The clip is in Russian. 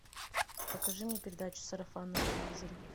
покажи мне передачу сарафан на телевизоре